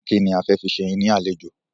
Kínni kí a fi ṣe yín ní àlejò?